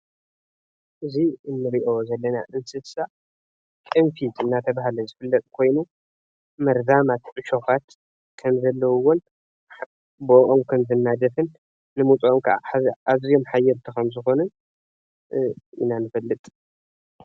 እዚ እንኦ ዘለና አንስሳ ቅንፊዝ አናተባህለ ዝፍለጥ ኮይኑ መርዛማት ዕሾኻት ከምዘለዉዎን በአኦም ከምዝናደፍን ምውጸኦም ከዓ ኣዝዮም ሓየልቲ ከምዝኮኑን ኢና ንፈልጥ።